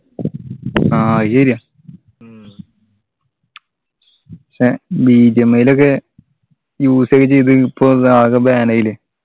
ആ അത് ശരിയാ ഏർ ലൊക്കെ usage ഇത് ഇപ്പോ ആകെ ban ആയില്ലേ